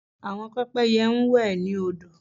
Àwọn pẹ́pẹ́yẹ ń wẹ̀ ní odò